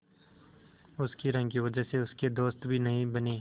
उसकी रंग की वजह से उसके दोस्त भी नहीं बने